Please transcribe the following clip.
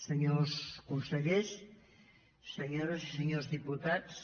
senyors consellers senyores i senyors diputats